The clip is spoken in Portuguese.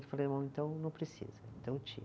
então não precisa, então tira.